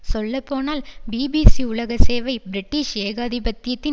சொல்லப்போனால் பிபிசி உலக சேவை பிரிட்டிஷ் ஏகாதிபத்தியத்தின்